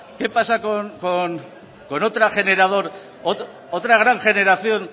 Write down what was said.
con otra gran generación